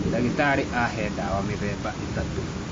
Ndagĩtarĩ ahe ndawa mĩthemba ĩtatũ.